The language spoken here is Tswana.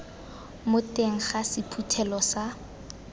mo teng ga sephuthelo sa